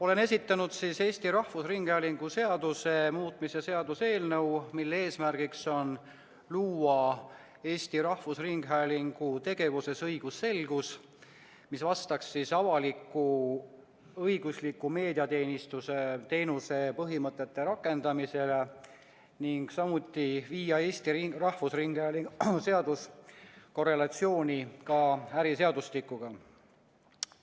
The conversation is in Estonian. Olen esitanud Eesti Rahvusringhäälingu seaduse muutmise seaduse eelnõu, mille eesmärk on luua Eesti Rahvusringhäälingu tegevuses õigusselgus, mis vastaks avalik‑õigusliku meediateenuse põhimõtete rakendamisele, ning viia Eesti Rahvusringhäälingu seadus korrelatsiooni äriseadustikuga.